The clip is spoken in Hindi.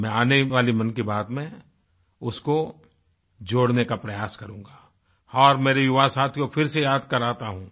मैं आने वाली मन की बात में उसको जोड़ने का प्रयास करूँगा और मेरे युवा साथियों फिर से याद कराता हूँ